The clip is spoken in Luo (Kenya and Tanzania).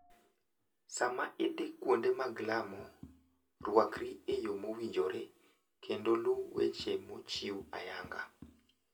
Sama idhi kuonde mag lamo, rwakri e yo mowinjore kendo luw weche mochiw ayanga.